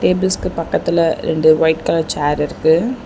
Tables பக்கத்துல ரெண்டு white colour chair இருக்கு.